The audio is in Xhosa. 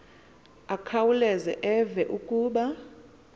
akhawuleze eve kuba